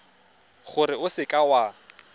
gore o seka w a